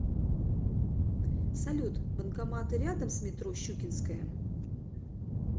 салют банкоматы рядом с метро щукинская